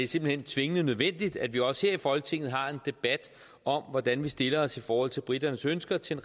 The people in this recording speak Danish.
simpelt hen tvingende nødvendigt at vi også her i folketinget har en debat om hvordan vi stiller os i forhold til briternes ønsker til